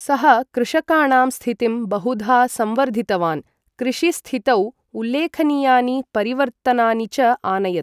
सः कृषकाणां स्थितिं बहुधा संवर्धितवान्, कृषिस्थितौ उल्लेखनीयानि परिवर्तनानि च आनयत्।